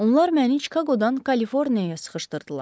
Onlar məni Çikaqodan Kaliforniyaya sıxışdırdılar.